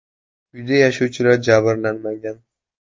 Uyda yashovchilar jabrlanmagan.